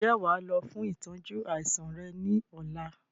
Ǹjẹ́ wàá lọ fún ìtọ́jú àìsàn rẹ ni ọ̀la?